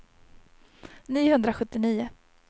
niohundrasjuttionio